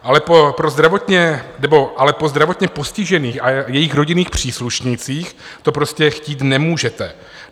Ale po zdravotně postižených a jejich rodinných příslušnících to prostě chtít nemůžete.